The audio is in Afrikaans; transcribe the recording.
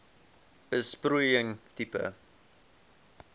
besproeiing tipe